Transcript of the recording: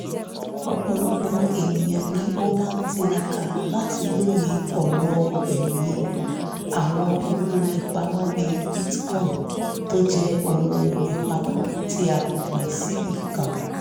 ọ̀pọ̀lọpọ̀ ènìyàn ni ó ń tiraka láti lóye ọ̀rọ̀-ìmòye àwọn owó-ìpamọ́ bíi bitcoin tó jẹ́ owó-ìpamọ́ tí a kò pín síbi kan